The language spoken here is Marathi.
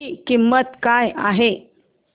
ची किंमत काय आहे